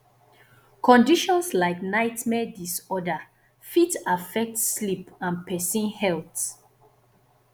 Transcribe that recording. conditions like nightmare disorder fit affect sleep and person health